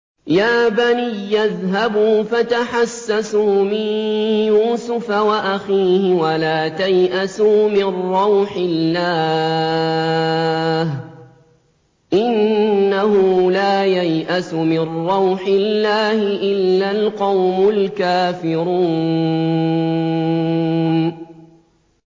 يَا بَنِيَّ اذْهَبُوا فَتَحَسَّسُوا مِن يُوسُفَ وَأَخِيهِ وَلَا تَيْأَسُوا مِن رَّوْحِ اللَّهِ ۖ إِنَّهُ لَا يَيْأَسُ مِن رَّوْحِ اللَّهِ إِلَّا الْقَوْمُ الْكَافِرُونَ